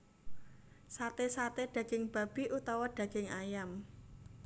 Sate saté daging babi utawa daging ayam